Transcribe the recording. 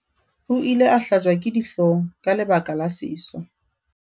o ile a hlajwa ke dihlong ka lebaka la seso